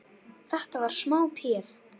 Þetta var smá peð!